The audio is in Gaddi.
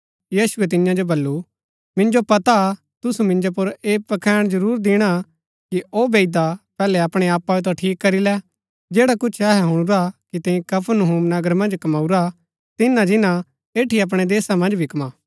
यीशुऐ तियां जो बल्लू मिन्जो पता हा तुसू मिन्जो पुर ऐह पखैण जरूर दिणा कि औ बैईदा पैहलै अपणै आपाओ ता ठीक करी लै जैडा कुछ अहै हुणुरा कि तैंई कफरनहूम नगर मन्ज कमऊरा तिनां जिन्‍ना एठी अपणै देशा मन्ज भी कम्मा